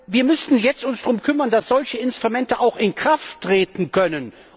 Wir müssten uns jetzt darum kümmern, dass solche Instrumente auch in Kraft treten können.